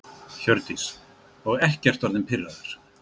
Hjördís: Og ekkert orðinn pirraður?